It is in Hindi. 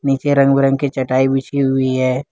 नीचे रंग बिरंग की चटाई बिछी हुई है।